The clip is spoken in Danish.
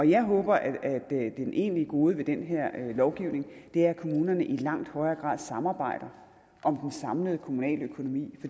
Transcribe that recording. jeg håber at det egentlige gode ved den her lovgivning er at kommunerne i langt højere grad samarbejder om den samlede kommunale økonomi